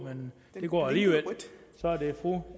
ur men det går alligevel så er det fru